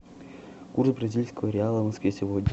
курс бразильского реала в москве сегодня